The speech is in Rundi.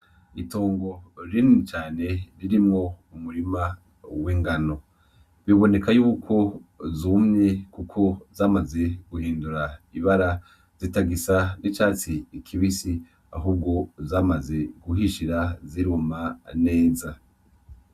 Itongo rinini cane ririmwo umurima w'ingano, biboneka yuko zumye kuko zamaze guhindura ibara zitagisa n'icatsi kibisi ahubwo zamaze guhishira ziruma neza.